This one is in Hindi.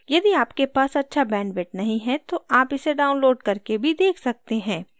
यदि आपके पास अच्छा bandwidth नहीं है तो आप इसे download करके भी देख सकते हैं